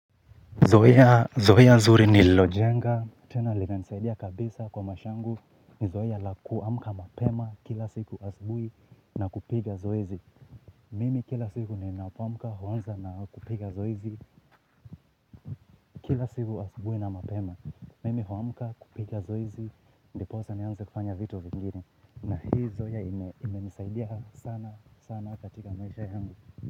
Zoea, zoea zuri nililojenga, tena linanisaidia kabisa kwa maisha yangu, ni zoea la kuamka mapema kila siku asubuhi na kupiga zoezi. Mimi kila siku ninapoamka huanza na kupiga zoezi kila siku asubuhi na mapema. Mimi huamka kupiga zoezi, ndiposa nianze kufanya vitu vingi. Na hii zoea imenisaidia sana sana katika maisha yangu.